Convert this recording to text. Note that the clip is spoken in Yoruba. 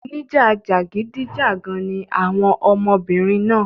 Oníjà jàgídíjàgan ni àwọn ọmọbìnrin náà.